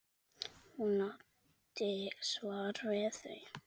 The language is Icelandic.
Hún átti svar við því.